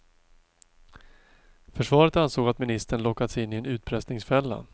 Försvaret ansåg att ministern lockats in i en utpressningsfälla.